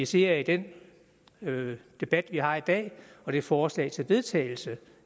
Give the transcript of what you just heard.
ser i den debat vi har i dag og det forslag til vedtagelse